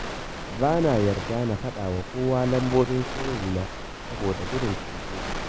Ba na yarda na faɗa wa kowa lambobin sirrina saboda gudun kutse.